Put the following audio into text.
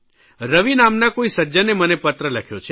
રવિ નામના કોઇ સજ્જને મને પત્ર લખ્યો છે